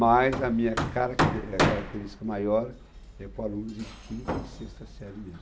Mas a minha caracte eh, característica maior é com alunos de quinta e sexta série mesmo.